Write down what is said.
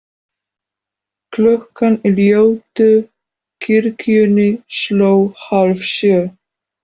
Klukkan í ljótu kirkjunni sló hálfsjö.